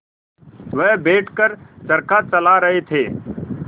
वह बैठ कर चरखा चला रहे थे